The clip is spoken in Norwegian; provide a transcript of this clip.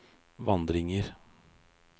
vandringer